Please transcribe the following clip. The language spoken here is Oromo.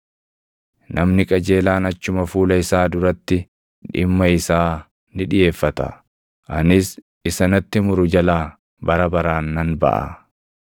Namni qajeelaan achuma fuula isaa duratti dhimma isaa ni dhiʼeeffata; anis isa natti muru jalaa bara baraan nan baʼa.